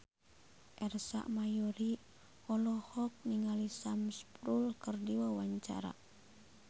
Ersa Mayori olohok ningali Sam Spruell keur diwawancara